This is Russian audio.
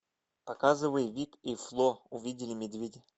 показывай вик и фло увидели медведя